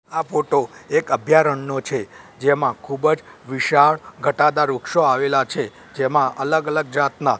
આ ફોટો એક અભ્યારણનો છે જેમાં ખૂબજ વિશાળ ઘટાદાર વૃક્ષો આવેલા છે જેમાં અલગ અલગ જાતના--